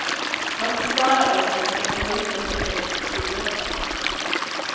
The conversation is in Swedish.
Han förklarar också kapitalismens effekt på idrotten.